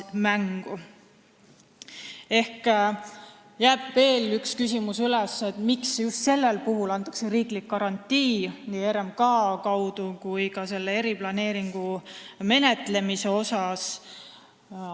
Ehk üles jääb veel üks küsimus: miks just sellel puhul antakse riiklik garantii, nii RMK kui ka eriplaneeringu menetlemise kaudu?